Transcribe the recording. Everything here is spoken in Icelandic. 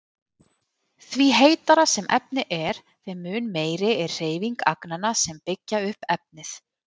Því heitara sem efni er þeim mun meiri er hreyfing agnanna sem byggja upp efnið.